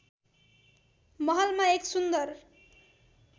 महलमा एक सुन्दर